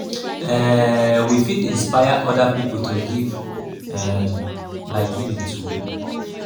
um we fit inspire oda pipo to give um by giving too